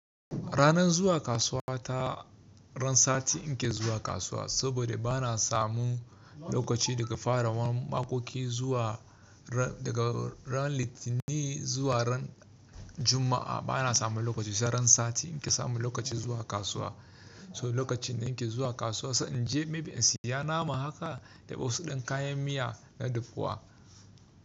Ranan zuwa kasuwa ta ran sati in ke zuwa kasuwa saboda ba na samu lokaci daga farawan makoki zuwa daga ran Litinin zuwa ran Juma'a ba na samu lokaci. Sai ran sati in ke samu lokaci zuwa kasuwa. So lokacin da in ke zuwa kasuwa in je maybe in siya nama haka da wasu ɗan kayan miya na dafuwa.